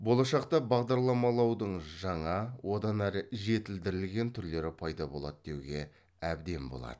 болашақта бағдарламалаудың жаңа одан әрі жетілдірілген түрлері пайда болады деуге әбден болады